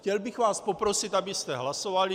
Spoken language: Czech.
Chtěl bych vás poprosit, abyste hlasovali.